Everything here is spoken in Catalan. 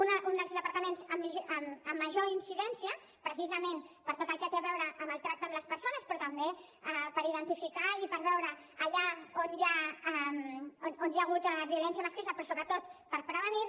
un dels departaments amb major incidència precisament per tot el que té a veure amb el tracte amb les persones però també per identificar i per veure allà on hi ha hagut violència masclista però sobretot per prevenir la